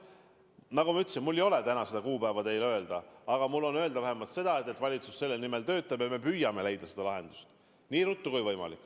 Nagu ma ütlesin, mul ei ole täna seda kuupäeva öelda, aga mul öelda vähemalt seda, et valitsus selle nimel töötab ja me püüame leida lahenduse nii ruttu, kui võimalik.